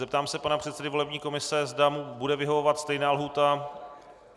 Zeptám se pana předsedy volební komise, zda mu bude vyhovovat stejná lhůta.